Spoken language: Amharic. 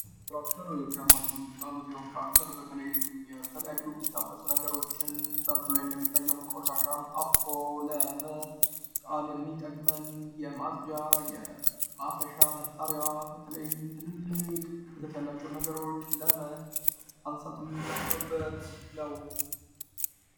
ትራክተር ከሞሽኖቹ ወጣንዱ ሲሆን ትራክተር በተለይም የተለያዩ የሚታፈሱ ነገሮችን በምስሉ ላይ እንደሚታዩም ቆሻሻን አፍሶ ለመጣል የሚጠቅመን የማጽጃ የማፈሻ መሳሪያ በተለይም ትልልቅ ክብደት ያላቸው ነገሮች ለማንሳት የምጠቀምበት ነው።